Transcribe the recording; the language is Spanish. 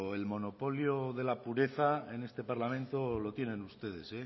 el monopolio de la pureza en este parlamento lo tienen ustedes